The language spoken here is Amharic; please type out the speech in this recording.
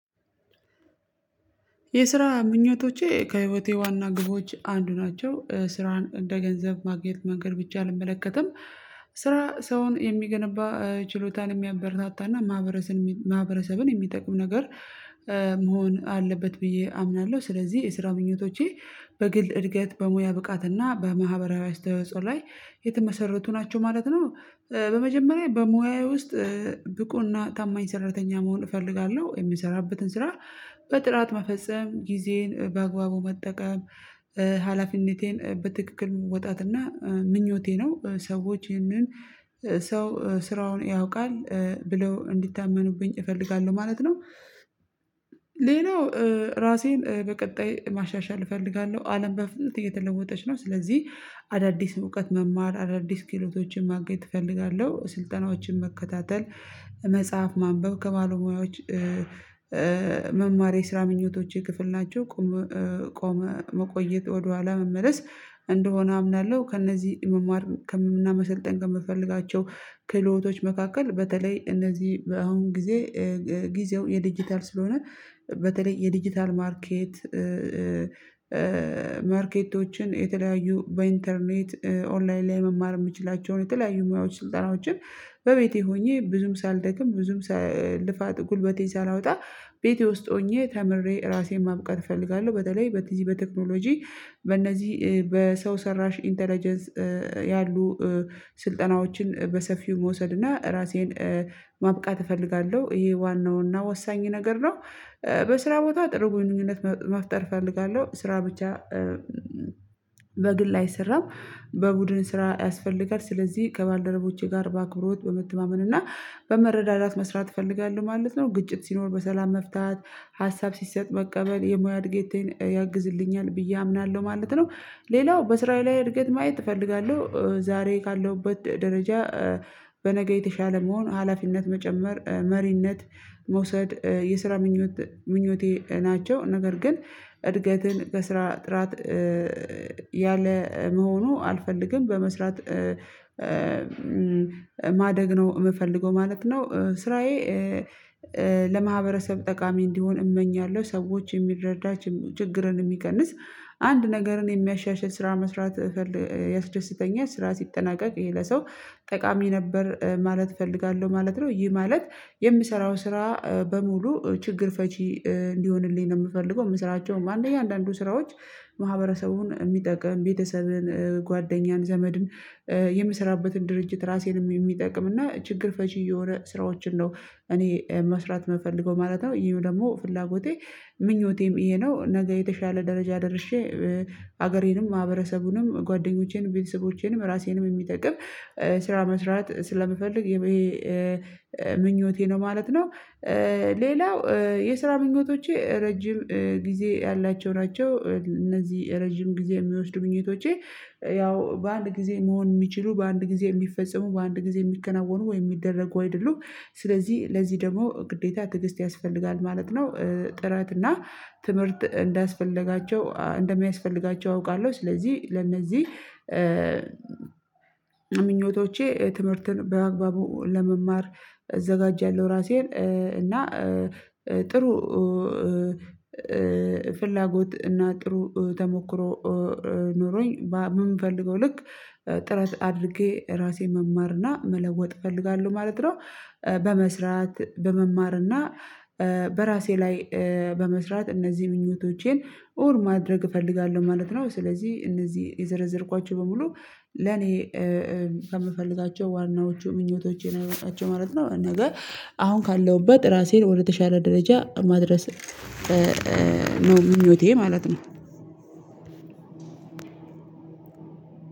የስራ ምኞቶቼ ከህይወቴ ዋና ግቦች አንዱ ናቸው ስራን እንደ ገንዘብ ማግኛ መንገድ ብቻ አልመለከትም ስራ ሰውን የሚገነባ ችሎታን የሚያበረታታና ማህበረሰብን የሚጠቅም ነገር መሆን አለበት ብዬ አምናለሁ። ስለዚህ የስራ ምኞቶቼ በግል እድገት በሙያ ብቃትና በማህበራዊ አስተዋጽኦ ላይ የተመሰረቱ ናቸው ማለት ነው። በመጀመሪያ በሙያዬ ውስጥ ብቁና ታማኝ ሰራተኛ መሆን እፈልጋለሁ የምሰራበትን ስራ በጥራት መፈጸም ጊዜን በአግባቡ መጠቀም ሀላፊነቴን በትክክል ወጣትና ምኞቴ ነው። ሰዎች ይህንን ሰው ስራውን ያውቃል ብለው እንዲታመኑብኝ እፈልጋለሁ ማለት ነው። ሌላው ራሴን በቀጣይ ማሻሻል እፈልጋለሁ አለም በፍጥነት እየተለወጠች ነው ስለዚህ አዳዲስ እውቀት መማር አዳዲስ ክህሎቶችን ማግኘት እፈልጋለሁ ስልጠናዎችን መከታተል መጽሐፍ ማንበብ ከባለ ሙያዎች መማር የስራ ምኞቶቼ ክፍል ናቸው። ቆሞ መቆየት ወደኋላ መመለስ እንደሆነ አምናለሁ ከእነዚህ መማር እና መሰልጠን ከምፈልጋቸው ክህሎቶች መካከል በተለይ እነዚህ አሁን ጊዜ ጊዜው የዲጂታል ስለሆነ በተለይ የዲጂታል ማርኬት ማርኬቶችን የተለያዩ በኢንተርኔት ኦንላይን ላይ መማር የምችላቸውን የተለያዩ ሙያዎች ስልጠናዎችን በቤቴ ሆኜ ብዙም ሳልደክም ብዙም ልፋት ጉልበቴን ሳላወጣ ቤቴ ውስጥ ሆኜ ተምሬ ራሴን ማብቀት እፈልጋለሁ። በተለይ በዚ በቴክኖሎጂ በእነዚህ በሰው ሰራሽ ኢንተለጀንስ ያሉ ስልጠናዎችን በሰፊው መውሰድና ራሴን ማብቃት እፈልጋለሁ ይሄ ዋናውና ወሳኝ ነገር ነው። በስራ ቦታ ጥሩ ግንኙነት መፍጠር እፈልጋለሁ ስራ ብቻ በግል አይሰራም በቡድን ስራ ያስፈልጋል ስለዚህ ከባልደረቦቼ ጋር በአክብሮት በመተማመን እና በመረዳዳት መስራት እፈልጋለሁ ማለት ነው። ግጭት ሲኖር በሰላም መፍታት ሀሳብ ሲሰጥ መቀበል የሙያ እድገቴን ያግዝልኛል ብዬ አምናለሁ ማለት ነው። ሌላው በስራዬ ላይ እድገት ማየት እፈልጋለሁ ዛሬ ካለሁበት ደረጃ በነገ የተሻለ መሆን ሀላፊነት መጨመር መሪነት መውሰድ የስራ ምኞቴ ናቸው። ነገር ግን እድገትን በስራ ጥራት ያለ መሆኑ አልፈልግም በመስራት ማደግ ነው የምፈልገው ማለት ነው። ስራዬ ለማህበረሰብ ጠቃሚ እንዲሆን እመኛለሁ ሰዎችን የሚረዳ ችግርን የሚቀንስ አንድ ነገርን የሚያሻሽል ስራ መስራት ያስደስተኛል ስራ ሲጠናቀቅ ይሄ ለሰው ጠቃሚ ነበር ማለት እፈልጋለሁ ማለት ነው። ይህ ማለት የሚሰራው ስራ በሙሉ ችግር ፈቺ እንዲሆንልኝ ነው የምፈልገው የምስራቸውም አንደኛ አንዳንዱ ስራዎች ማህበረሰቡን የሚጠቅም ቤተሰብን ጓደኛን ዘመድን የምሰራበትን ድርጅት ራሴንም የሚጠቅም እና ችግር ፈቺ የሆነ ስራዎችን ነው እኔ መስራት የምፈልገው ማለት ነው። ይሄም ደግሞ ፍላጎቴ ምኞቴም ይሄ ነው ነገ የተሻለ ደረጃ ደርሼ ሀገሬንም ማህበረሰቡንም ጓደኞቼንም ቤተሰቦቼንም ራሴንም የሚጠቅም ስራ መስራት ስለምፈልግ ምኞቴ ነው ማለት ነው። ሌላው የስራ ምኞቶቼ ረጅም ጊዜ ያላቸው ናቸው እነዚህ ረጅም ጊዜ የሚወስዱ ምኞቶቼ ያው በአንድ ጊዜ መሆን የሚችሉ በአንድ ጊዜ የሚፈጸሙ በአንድ ጊዜ የሚከናወኑ ወይ የሚደረጉ አይደሉም ስለዚህ ለዚህ ደግሞ ግዴታ ትግስት ያስፈልጋል ማለት ነው። ጥረት እና ትምህርት እንደሚያስፈልጋቸው አውቃለሁ ስለዚህ ለእነዚህ ምኞቶቼ ትምህርትን በአግባቡ ለመማር አዘጋጃለሁ ራሴን እና ጥሩ ፍላጎት እና ጥሩ ተሞክሮ ኖሮኝ በምፈልገው ልክ ጥረት አድርጌ ራሴ መማርና መለወጥ እፈልጋለሁ ማለት ነው። በመስራት በመማርና በራሴ ላይ በመስራት እነዚህን ምኞቶቼን ማድረግ እፈልጋለሁ ማለት ነው። ስለዚህ እነዚህ የዘረዘርኳቸው በሙሉ ለኔ ከምፈልጋቸው ዋናዎቹ ምኞቶቼን አይበቃቸው ማለት ነው። ነገ አሁን ካለሁበት ራሴን ወደተሻለ ደረጃ ማድረስ ነው ምኞቴ ማለት ነው።